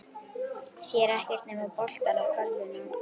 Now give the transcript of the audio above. Sér ekkert nema boltann og körfuna.